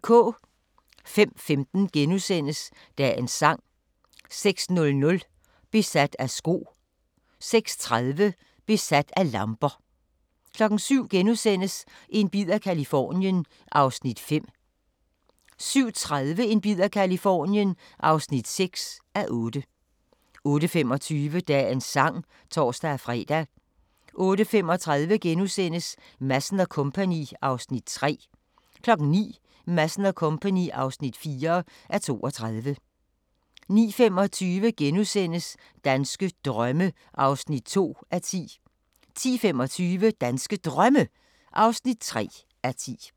05:15: Dagens sang * 06:00: Besat af sko * 06:30: Besat af lamper 07:00: En bid af Californien (5:8)* 07:30: En bid af Californien (6:8) 08:25: Dagens Sang (tor-fre) 08:35: Madsen & Co. (3:32)* 09:00: Madsen & Co. (4:32) 09:25: Danske drømme (2:10)* 10:25: Danske Drømme (3:10)